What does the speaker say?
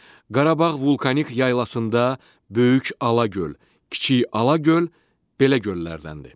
Qarabağ vulkanik yaylasında böyük Alağöl, kiçik Alağöl belə göllərdəndir.